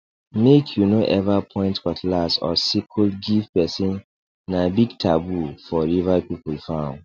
make you no ever point cutlass or sickle give person na big taboo for river people farm